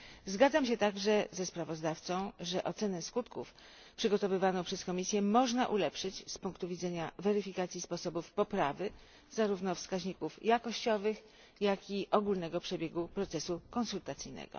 Zgadzam się także ze sprawozdawcą, że ocenę skutków przygotowywaną przez Komisję można ulepszyć z punktu widzenia weryfikacji sposobów poprawy zarówno wskaźników jakościowych, jak i ogólnego przebiegu procesu konsultacyjnego.